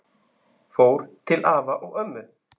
Fór til afa og ömmu.